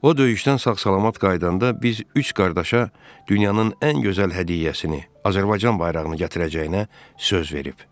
O döyüşdən sağ-salamat qayıdanda biz üç qardaşa dünyanın ən gözəl hədiyyəsini Azərbaycan bayrağını gətirəcəyinə söz verib.